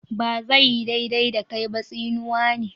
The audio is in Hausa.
"Ba zai yi daidai da kai ba" tsinuwa ne.